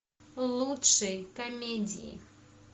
лучшие комедии